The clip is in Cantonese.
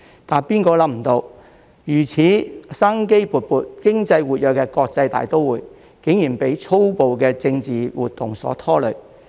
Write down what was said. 誰也想不到，如此生機勃勃、經濟活躍的國際大都會，竟然被粗暴的政治活動所拖累。